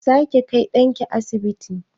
Zaki kai ɗanki asibiti?